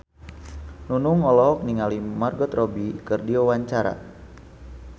Nunung olohok ningali Margot Robbie keur diwawancara